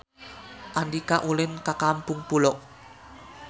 Andika ulin ka Kampung Pulo